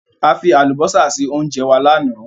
A fi àlùbósà sí óńjẹ wa lánàá.